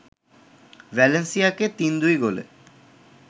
ভ্যালেন্সিয়াকে ৩-২ গোলে